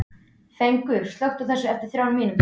Fengur, slökktu á þessu eftir þrjár mínútur.